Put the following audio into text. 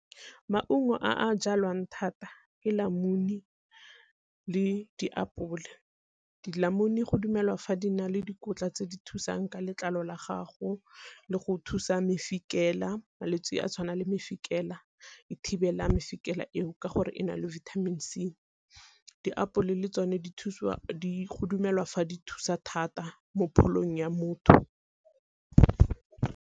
Maungo a jalwang thata ke le diapole. go dumelwa fa di na le dikotla tse di thusang ka letlalo la gago le go thusa mofikela, malwetsi a tshwanang le mofikela e thibela mofikela eo ke gore e na le vitamin C. Diapole le tsone go dumelwa fa di thusa thata mo pholong ya motho.